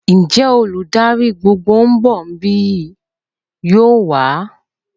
Ǹjẹ́ olùdarí gbogbogbò ń bọ̀ bíi? yóò wà?